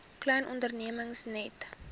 klein ondernemings net